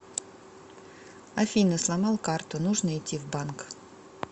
афина сломал карту нужно идти в банк